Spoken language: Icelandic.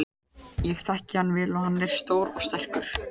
Ég þekki hann vel og hann er stór og sterkur.